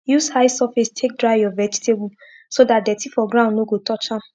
use high surface take dry ur vegetable so dat dirty for ground no go touch am